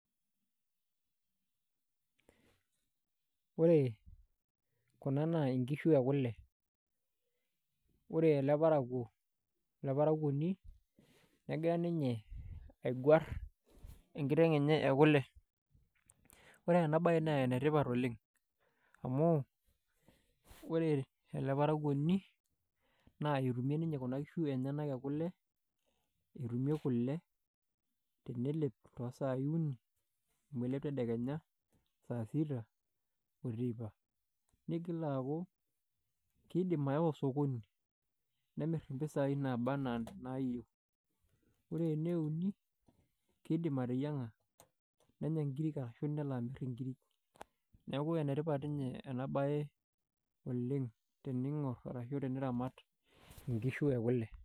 Ore kuna naa nkishu ekule ore ele parakuoni negira ninye aigwarr enkiteng' enye ekule ore ena baye naa enetipat oleng amu ore ele parakuoni naa etumie ninye kuna kishu enyenak kule enelep katitin uni amu elep tedekenya nelep dama oteipa ore sii enkae kiidim nemirr impisaai naaba enaa inaayieu ore ene uni kiidim ateyienng'a nenya nkiri neeku enetipat ena baye teniramat nkishu ekule.